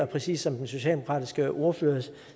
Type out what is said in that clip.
præcis som den socialdemokratiske ordfører